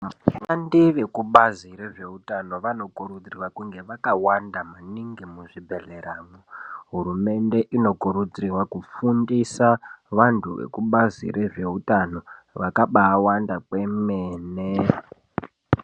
Vashandi vekubazi rezvehutano vanokurudzirwa kunge vakawanda maningi muzvibhedhleramwo. Hurumende inokurudzirwa kufundisa vantu vekubazi rezvehutano vakabawanda kwemene.